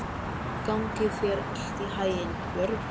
Gangi þér allt í haginn, Jörvi.